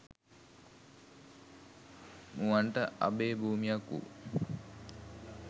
මුවන්ට අභය භූමියක් වූ